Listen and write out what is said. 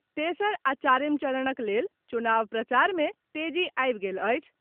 तेसर आ चारिम चरणक लेल चुनाव प्रचार में तेजी आबि गेल अछि।